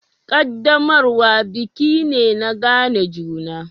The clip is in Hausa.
Ƙaddamarwa biki me na gane juna.